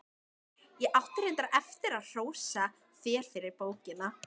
Ég átti reyndar eftir að hrósa þér fyrir bókina.